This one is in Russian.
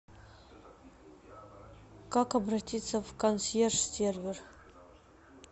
как обратиться в консьерж сервер